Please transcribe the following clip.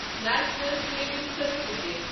national saving certificate